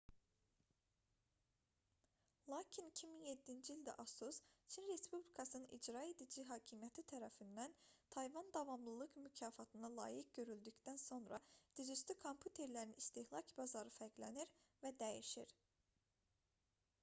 lakin 2007-ci ildə asus çin respublikasının i̇craedici hakimiyyəti tərəfindən tayvan davamlılıq mükafatına layiq görüldükdən sonra dizüstü kompüterlərin istehlak bazarı fərqlənir və dəyişir